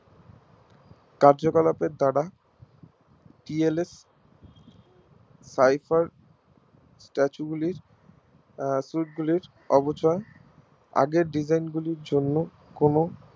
কার্যকলাপের দ্বারা TLFType এর Statue গুলি Suit গুলির অবচয় আগের Design গুলির জন্য কোনো